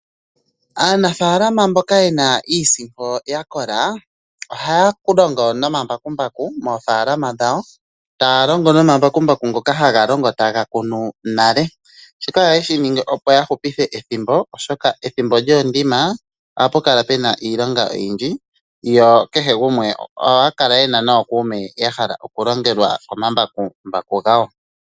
Aanafaalama mboka yena iisimpo ya kola ohaya longo nomambakumbaku moofaalama dhawo, taya longo nomambakumbaku ngoka haga longo taga kunu nale, shika ohaye shi ningi opo ya hupithe ethimbo oshoka ethimbo lyoondima ohapu kala pena iilonga oyindji. Yo ohaya kala yena nookuume ya hala okulongelwa komambakumbaku gawo.